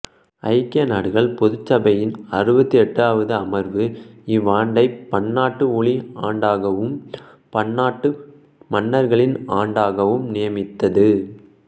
ஐக்கிய நாடுகள் பொதுச் சபையின் அறுபத்து எட்டாவது அமர்வு இவ்வாண்டைப் பன்னாட்டு ஒளி ஆண்டாகவும் பன்னாட்டு மண்களின் ஆண்டாகவும் நியமித்தது